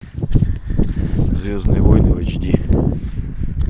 звездные войны в эйч ди